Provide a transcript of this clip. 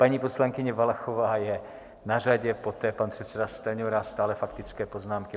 Paní poslankyně Valachová je na řadě, poté pan předseda Stanjura, stále faktické poznámky.